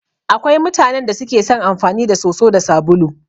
Akwai mutanan da suke son amfani da soso da sabulu.